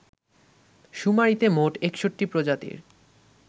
শুমারিতে মোট ৬১ প্রজাতির